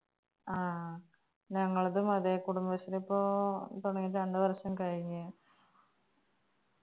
ആ ഞങ്ങളതും അതെ കുടുംബശ്രീ ഇപ്പോ തുടങ്ങിയിട്ട് രണ്ട്‌ വർഷം കഴിഞ്ഞു